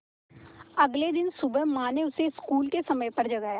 अगले दिन सुबह माँ ने उसे स्कूल के समय पर जगाया